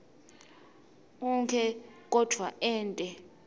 onkhe kodvwa ente